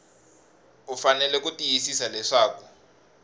u fanele ku tiyisisa leswaku